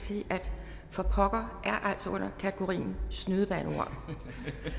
sige at for pokker altså er under kategorien snydebandeord